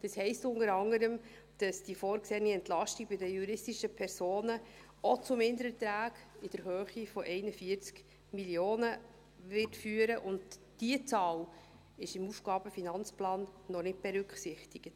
Das heisst unter anderem, dass die vorgesehene Entlastung bei den juristischen Personen auch zu Mindererträgen in der Höhe von 41 Mio. Franken führen wird, und diese Zahl ist im AFP noch nicht berücksichtigt.